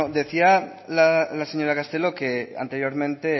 decía la señora castelo que anteriormente